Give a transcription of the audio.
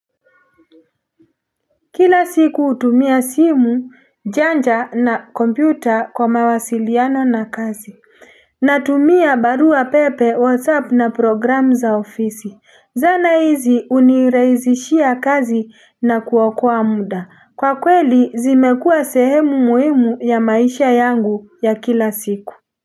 Kila siku hutumia simu, janja, na kompyuta kwa mawasiliano na kazi Natumia barua pepe, whatsapp na program za ofisi. Zana hizi hunirahisishia kazi na kuokoa muda. Kwa kweli zimekua sehemu muhimu ya maisha yangu ya kila siku.